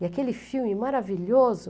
E aquele filme maravilhoso!